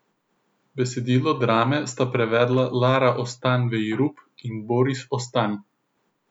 Besedilo drame sta prevedla Lara Ostan Vejrup in Boris Ostan.